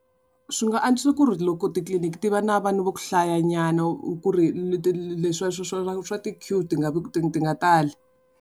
Swi nga antswisa ku ri loko titliliniki ti va na vanhu va ku hlayanyana ku ri leswi swa ti-queue ti nga vi ti nga tali.